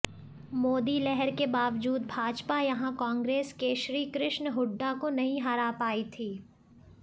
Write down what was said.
मोदी लहर के बावजूद भाजपा यहां कांग्रेस के श्रीकृष्ण हुड्डा को नहीं हरा पाई थी